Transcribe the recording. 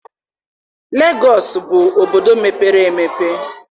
Legọọsị bụ obodo mepere emepe